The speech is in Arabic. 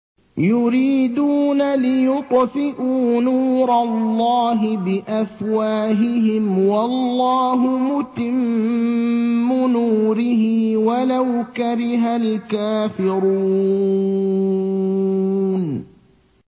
يُرِيدُونَ لِيُطْفِئُوا نُورَ اللَّهِ بِأَفْوَاهِهِمْ وَاللَّهُ مُتِمُّ نُورِهِ وَلَوْ كَرِهَ الْكَافِرُونَ